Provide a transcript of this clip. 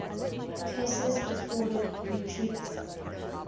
cases afforded retreat